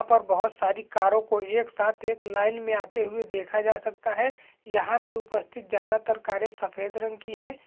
यहां पर बहुत सारी कारो को एक साथ एक लाइन मे आते हुए देखा जा सकता है यहां पे उपस्थित ज्यादातर कारे सफेद रंग की है।